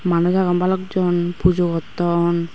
manuj agon bhalok jon pujo gotton.